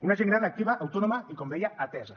una gent gran activa autònoma i com deia atesa